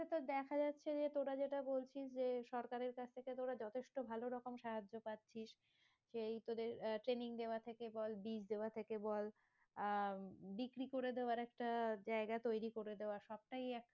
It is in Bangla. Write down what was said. তো দেখা যাচ্ছে যে তোরা যেটা বলছিস যে সরকারের কাছ থেকে তোরা যথেষ্ট ভালো রকম সাহায্য পাচ্ছিস সেই তোদের আহ training দেওয়া থেকে বল বীজ দেওয়া থেকে বল আহ বিক্রি করে দেওয়ার একটা জায়গা করে দেওয়া সবটাই